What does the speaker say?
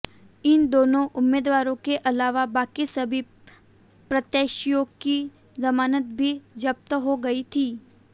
इन दोनों उम्मीदवारों के अलावा बाकी सभी प्रत्याशियों की जमानत भी जब्त हो गई थी